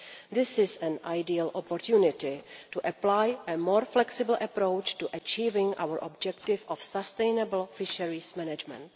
This is an ideal opportunity to apply a more flexible approach to achieving our objective of sustainable fisheries management.